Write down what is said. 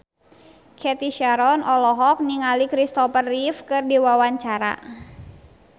Cathy Sharon olohok ningali Christopher Reeve keur diwawancara